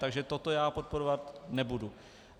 Takže tohle já podporovat nebudu.